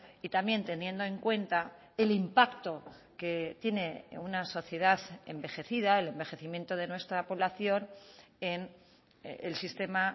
y también teniendo en cuenta el impacto que tiene una sociedad envejecida el envejecimiento de nuestra población en el sistema